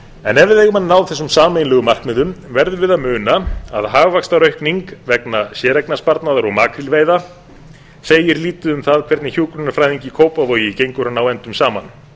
en ef við eigum að ná þessum sameiginlegum markmiðum verðum við að muna að hagvaxtaraukning vegna séreignarsparnaðar og makrílveiða segir lítið um það hvernig hjúkrunarfræðingi í kópavogi gengur að ná endum saman